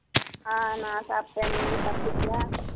ஆஹ் நான் சாப்பிட்டேன் நீங்க சாப்பிட்டீங்களா